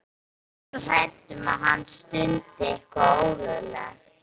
Ég er svo hrædd um að hann stundi eitthvað ólöglegt.